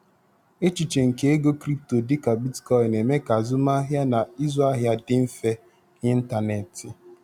Echiche nke ego crypto dịka Bitcoin na-eme ka azụmahịa na ịzụ ahịa dị mfe n'ịntanetị.